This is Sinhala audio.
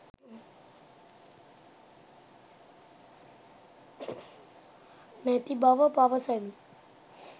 නැති බව පවසමි.